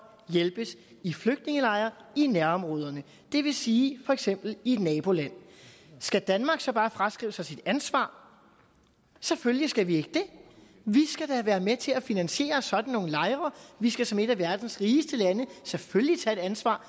hjælpes i flygtningelejre i nærområderne det vil sige for eksempel i et naboland skal danmark så bare fraskrive sig sit ansvar selvfølgelig skal vi ikke det vi skal da være med til at finansiere sådan nogle lejre vi skal som et af verdens rigeste lande selvfølgelig tage et ansvar